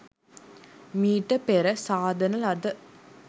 මීට පෙර සාදන ලද